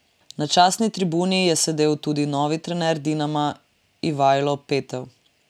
Na častni tribuni je sedel tudi novi trener Dinama Ivajlo Petev.